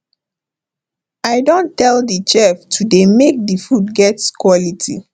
i don tell the chef to dey make the food get quality